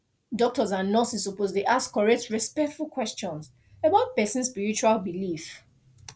doctors and nurses suppose dey ask correct respectful question about person spiritual belief